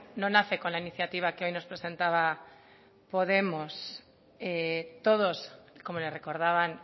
no nace con la iniciativa que hoy nos presentaba podemos todos como le recordaban